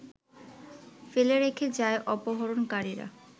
ফেলে রেখে যায় অপহরণকারীরা